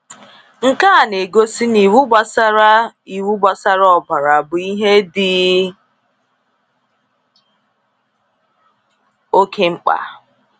Nke a na-egosi na iwu gbasara iwu gbasara ọbara bụ ihe dị oke mkpa.